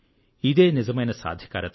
ఇదే నిజమైన సాధికారిత